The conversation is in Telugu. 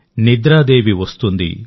నిద్రాదేవి వస్తుంది